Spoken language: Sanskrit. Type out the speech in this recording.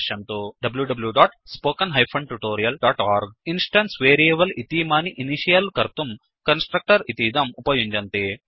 httpwwwspoken tutorialओर्ग इन्स्टेन्स् वेरियेबल् इतीमानि इनिषियल् कर्तुं कन्स्ट्रक्टर् इतीदम् उपयुञ्जन्ति